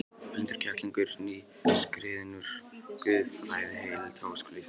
Blindur kettlingur, nýskriðinn úr guðfræðideild Háskóla Íslands.